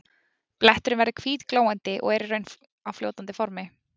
Bletturinn verður hvítglóandi og er í raun á fljótandi formi.